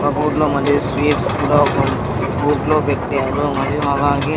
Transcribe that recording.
ఒకూర్లో మరియు స్వీట్స్ కూడా ఒక గూట్లో పెట్టారు మరియు మోగానికి--